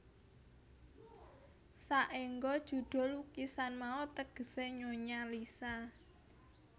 Saéngga judhul lukisan mau tegesé Nyonya Lisa